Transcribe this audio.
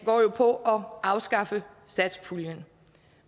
går jo på at afskaffe satspuljen